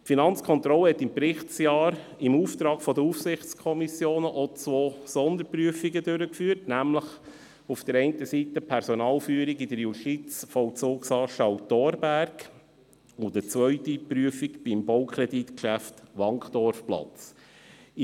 Die Finanzkontrolle führte im Berichtsjahr im Auftrag der Aufsichtskommissionen auch zwei Sonderprüfungen durch, zum einen die «Personalführung in der Justizvollzuganstalt Thorberg» betreffend und zum anderen das Baukreditgeschäft «Wankdorfplatz» betreffend.